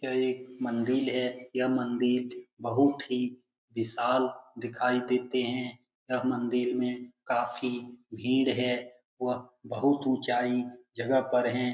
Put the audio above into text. यह एक मंदिर है यह मंदिर बहुत ही विशाल दिखाई देते हैं यह मंदिर में काफी भीड़ है व बहुत ऊंचाई जगह पर हैं।